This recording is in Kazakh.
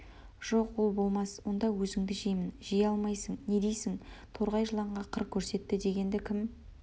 жоқ ол болмас онда өзіңді жеймін жей алмайсың не дейсің торғай жыланға қыр көрсетті дегеңді кім